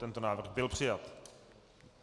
Tento návrh byl přijat.